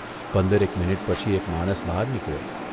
પંદરેક minute પછી એક માણસ બહાર નીકળ્યો.